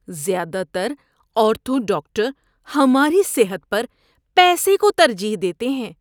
زیادہ تر ortho doctor ہماری صحت پر پیسے کو ترجیح دیتے ہیں۔